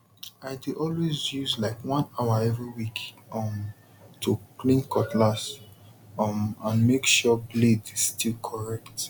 i dey always use like one hour every week um to clean cutlass um and make sure blade still correct